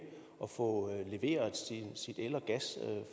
at få leveret sin el og gas